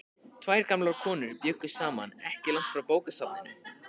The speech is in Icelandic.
Tvær gamlar konur bjuggu saman ekki langt frá bókasafninu.